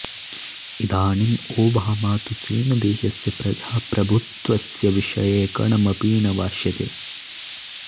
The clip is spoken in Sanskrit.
इदानीम् ओबामा तु चीनदेशस्य प्रजाप्रभुत्वस्य विषये कणमपि न भाषते